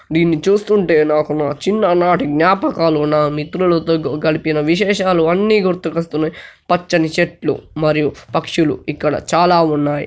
దీన్ని చూస్తుంటే నాకు నా చిన్న నాటి జ్ఞాపకాలు నా మిత్రులతో గ-గడిపిన విశేషాలు అన్ని గుర్తుకు వస్తున్నై. పచ్చని చెట్లు మరియు పక్షులు ఇక్కడ చాలా ఉన్నాయి.